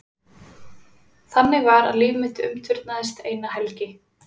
Þannig var að líf mitt umturnaðist eina helgi.